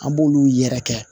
An b'olu yɛrɛ kɛ